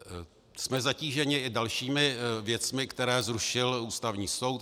Jsme zatíženi i dalšími věcmi, které zrušil Ústavní soud.